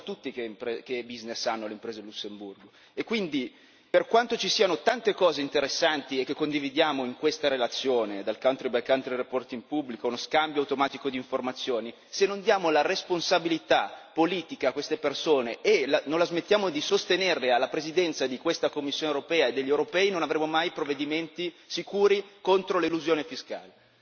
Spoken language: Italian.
Lo sappiamo tutti che business hanno le imprese a Lussemburgo e quindi, per quanto ci siano tante cose interessanti e che condividiamo in questa relazione, dal country by country reporting pubblico allo scambio automatico d'informazioni, se non diamo la responsabilità politica a queste persone e non la smettiamo di sostenerle alla Presidenza di questa Commissione europea e degli europei non avremo mai provvedimenti sicuri contro l'elusione fiscale.